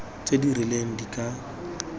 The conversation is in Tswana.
tse di rileng di ka